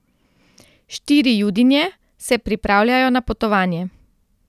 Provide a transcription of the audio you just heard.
Štiri Judinje se pripravljajo na potovanje.